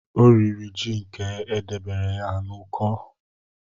Ọ riri ji nke e debere ya n'uko